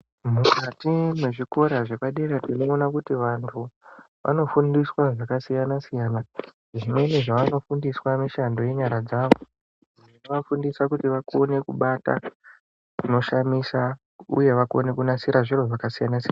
Mukati mwezvikora zvepadera tinoona kuti kuti vantu, vanofundiswa zvakasiyana siyana zvinenge zvavanofundiswa mishando yenyara dzavo dzinovafafundisa kuti vakone kubata zvinoshamisa uye vakone kunasira zviro zvakasiyana siyana.